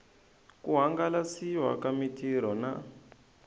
ku hangalasiwa ka mitirho na